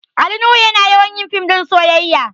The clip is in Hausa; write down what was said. Ali nuhu yana yawan yin fim ɗin soyayya